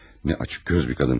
Nə açıqqöz bir qadın.